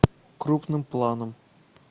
крупным планом